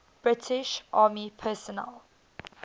british army personnel